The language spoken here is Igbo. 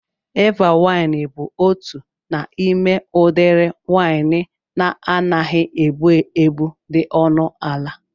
Eva wain bụ otu n'ime udiri wain na-anaghị egbu egbu dị ọnụ ala